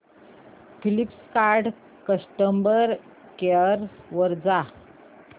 Flipkart customer care वर जा